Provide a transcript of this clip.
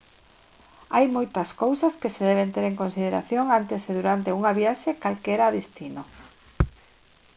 hai moitas cousas que se deben ter en consideración antes e durante unha viaxe a calquera destino